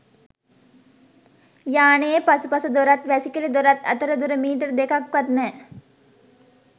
යානයේ පසුපස දොරත් වැසිකිළි දොරත් අතර දුර මීටර දෙකක්වත් නෑ.